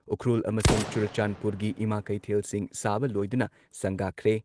ꯎꯈ꯭ꯔꯨꯜ ꯑꯃꯁꯨꯡ ꯆꯨꯔꯆꯥꯟꯗꯄꯨꯔꯒꯤ ꯏꯃꯥ ꯀꯩꯊꯦꯜꯁꯤꯡ ꯁꯥꯕ ꯂꯣꯏꯗꯨꯅ ꯁꯪꯒꯥꯈ꯭ꯔꯦ ꯫